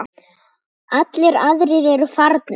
Allir aðrir eru farnir.